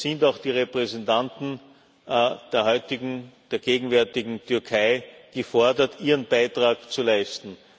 da sind auch die Repräsentanten der heutigen, der gegenwärtigen Türkei gefordert, ihren Beitrag zu leisten.